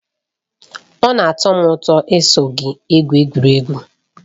Ọ na-atọ m ụtọ iso gị egwu egwu.